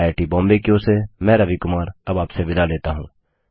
IIT Bombay की ओर से मैं रवि कुमार अब आपसे विदा लेता हूँ